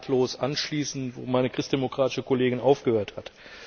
Ich kann nahtlos anschließen, wo meine christdemokratische Kollegin aufgehört hat.